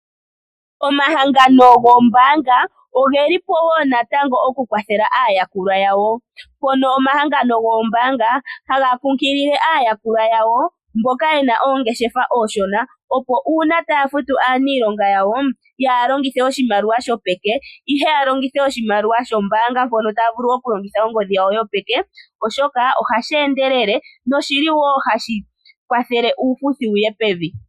Omahangano goombaanga ogeli po woo natango okukwathela aayakulwa yawo. Mpono omahangano goombaanga haga kunkilile aayakulwa yawo mboka yena oongeshefa ooshona opo uuna taya futu aaniilonga yawo, yaaha longithe oshimaliwa shopeke ihe ya longithe shokombaanga mpono taya vulu okulongitha ongodhi yawo yopeke, oshoka ohashi endelele no shili woo hashi kwathele uufuthi wuye pevi.